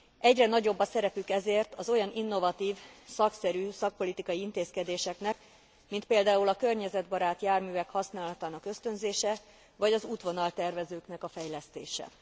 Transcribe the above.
Egyre nagyobb a szerepük ezért az olyan innovatív, szakszerű szakpolitikai intézkedéseknek, mint például a környezetbarát járművek használatának ösztönzése vagy az útvonaltervezőknek a fejlesztése.